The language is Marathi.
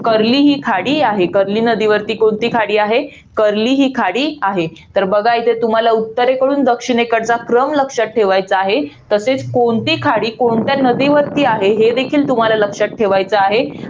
कर्ली ही खाडी आहे. कर्ली नदीवरती कोणती खाडी आहे? कर्ली ही खाडी आहे. तर बघा तुम्हाला इथे, उत्तरेकडून दक्षिणेकडचा क्रम लक्षात ठेवायचा आहे. तसेच कोणती खाडी कोणत्या नदीवरती आहे हे देखील तुम्हाला लक्षात ठेवायचं आहे.